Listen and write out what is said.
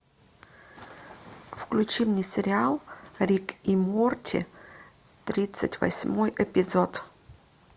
включи мне сериал рик и морти тридцать восьмой эпизод